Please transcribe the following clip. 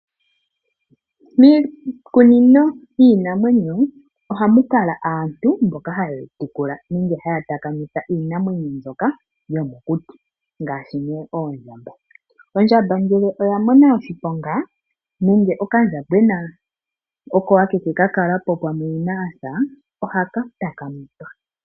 Miikunino yiinamwenyo ohamu kala aantu mboka haye yi tekula nenge haya takamitha iinamwenyo mbyoka yomokuti, ngaashi nee oondjamba. Ondjamba ngele oya mona oshiponga nenge okandjambona oko akeke ka kala po pamwe yina asa, ohaka takamithwa.